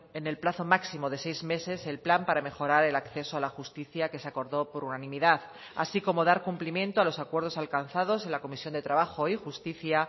en el plazo máximo de seis meses el plan para mejorar el acceso a la justicia que se acordó por unanimidad así como dar cumplimiento a los acuerdos alcanzados en la comisión de trabajo y justicia